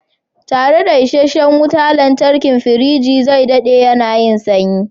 Tare da isasshen wutar lantarki, firiji zai daɗe yana yin sanyi.